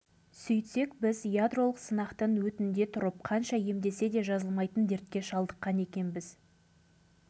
өйткені сіздер санақтан да санаттан да шығарылған адамсыңдар біз не айтарымызды білмей аңырып қалдық сонда біздің